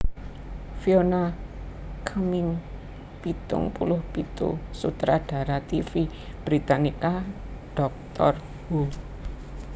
Fiona Cumming pitung puluh pitu sutradara tv Britania Doctor Who